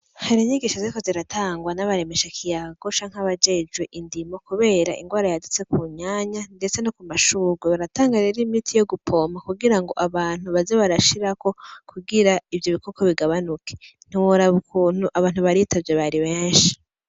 Har'inyigisho ziriko ziratangwa n'abaremeshakiyagocanke abajejwe indimo kubera inrwara yadutse ku nyanya ndetse no ku mashurwe, baratanga rero imiti yo gupoma kugira ngo abantu baze barashirako kugira ivyo bikoko bigabanuke ntiworaba ukuntu abantu bari bitavye bari benshi.